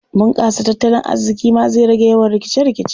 Bunƙasa tattalin arziƙi ma zai rage yawan rikice-rikice.